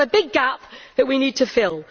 So we have a big gap that we need to fill.